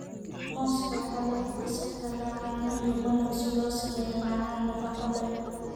Muuska waxaa lagu qasi karaa caano iyo malab si loo sameeyo macaan nafaqo leh.